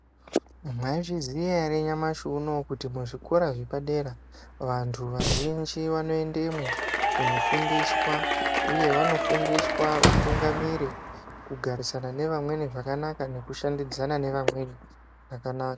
Mwaizviziya ere nyamashi unowu kuti kuzvikora zvepadera vantu vazhinji vanoendemwo kunofundiswa, uye vanofundiswa utungamiri, kugarisana nevamweni zvakanaka nekushandidzana nevamweni zvakanaka?